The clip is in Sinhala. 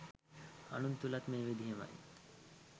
අනුන් තුළත් මේ විදිහමයි